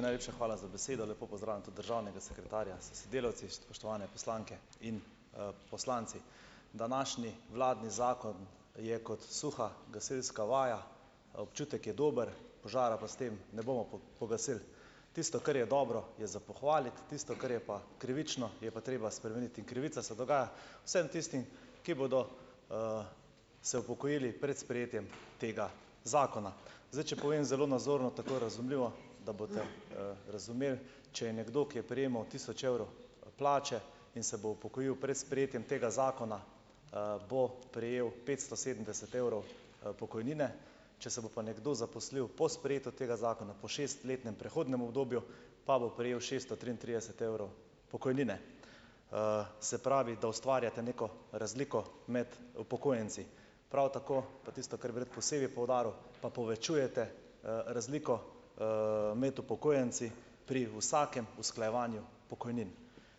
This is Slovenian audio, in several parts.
najlepša hvala za besedo. Lepo pozdravljam tudi državnega sekretarja s sodelavci. Spoštovane poslanke in, poslanci. Današnji vladni zakon je kot suha gasilska vaja, občutek je dober, požara pa s tem ne bomo pogasili. Tisto, kar je dobro, je za pohvaliti, tisto, kar je pa krivično, je pa treba spremeniti in krivica se dogaja vsem tistim, ki bodo se upokojili pred sprejetjem tega zakona. Zdaj, če povem zelo nazorno, tako razumljivo, da boste, razumeli, če je nekdo, ki je prejemal tisoč evrov plače in se bo upokojil pred sprejetjem tega zakona, bo prejel petsto sedemdeset evrov, pokojnine, če se bo pa nekdo zaposlil po sprejetju tega zakona, po šestletnem prehodnem obdobju, pa bo prejel šeststo triintrideset evrov pokojnine. Se pravi, da ustvarjate neko razliko med upokojenci, prav tako pa tisto, kar bi rad posebej poudaril, pa povečujete, razliko, med upokojenci pri vsakem usklajevanju pokojnin.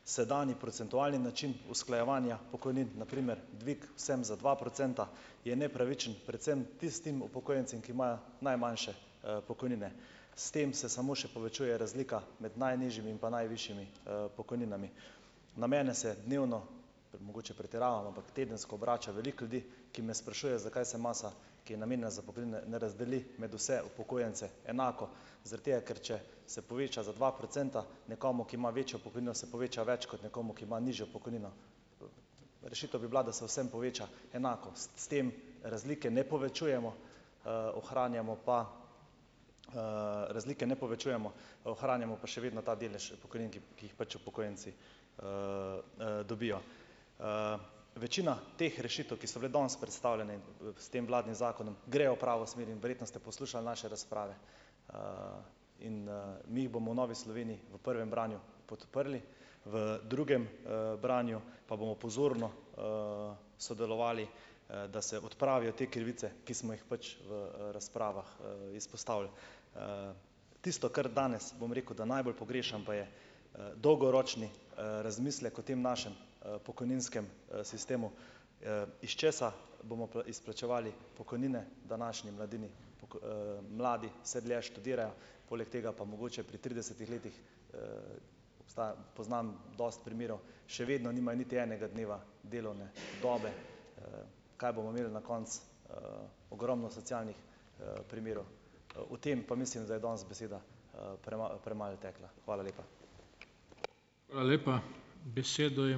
Sedanji, procentualni način usklajevanja pokojnin, na primer dvig vsem za dva procenta, je nepravičen, predvsem tistim upokojencem, ki imajo najmanjše, pokojnine. S tem se samo še povečuje razlika med najnižjimi in pa najvišjimi, pokojninami. Na mene se dnevno, mogoče pretiravam, ampak tedensko, obrača veliko ljudi, ki me sprašujejo, zakaj se masa, ki je namenjena za pokojnine, ne razdeli med vse upokojence enako, zaradi tega, ker če se poveča za dva procenta nekomu, ki ima večjo pokojnino, se poveča več, kot nekomu, ki ima nižjo pokojnino. Rešitev bi bila, da se vsem poveča enako. S s tem razlike ne povečujemo, ohranjamo pa, razlike ne povečujemo, ohranjamo pa še vedno ta delež pokojnin, ki ki jih pač upokojenci, dobijo. Večina teh rešitev, ki so bile danes predstavljene, s tem vladnim zakonom, grejo v pravo smer in verjetno ste poslušali naše razprave, in, mi jih bomo v Novi Sloveniji, v prvem branju podprli, v drugem, branju pa bomo pozorno, sodelovali, da se odpravijo te krivice, ki smo jih pač v, razpravah, izpostavili. Tisto, kar danes, bom rekel, da najbolj pogrešam, pa je, dolgoročni, razmislek o tem našem, pokojninskem, sistemu, iz česa bomo izplačevali pokojnine današnji mladini, mladi vse dlje študirajo, poleg tega pa mogoče pri tridesetih letih, obstaja, poznam dosti primerov, še vedno nimajo niti enega dneva delovne dobe. Kaj bomo imeli na koncu? Ogromno socialnih, primerov. O tem pa mislim, da je danes beseda, premalo tekla. Hvala lepa.